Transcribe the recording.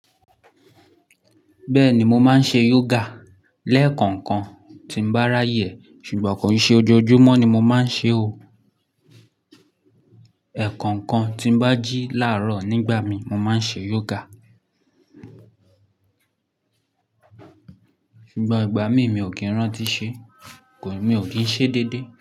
Bẹ́ẹ̀ni, mo máa ń ṣe yoga lẹ́ẹ̀kọ̀kan tín bá ráyè, ṣùgbọ́n kò ṣe ojojúmọ́ ni mo máa ń ṣe o. Ẹ̀kọ̀ọ̀kan tí bá jí láàárọ̀ nígbà mí, mo máa ń ṣe yoga. Ṣùgbọ́n ìgbà mí mi ò kí ń rántí ṣe, mi ò kí ń ṣe déédé.